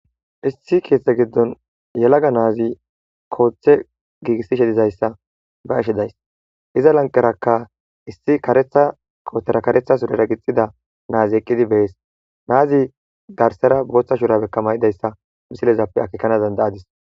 Issi keeththa giddon yelaga nati kota gigisishe diza issa be'ashe days iza lanqeraka ta issi kareta qoobera kareya surera gixida naza eqqidi be'es.naze garsaara botha shurabeka mayida issa misilezappe akkekana danidayayis.